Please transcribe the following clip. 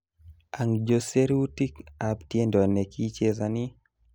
angjo serutik ab tiendo nekichezani